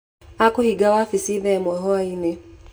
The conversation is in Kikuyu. Akũhinga wabici thaa ĩmwe hwaĩ-inĩ.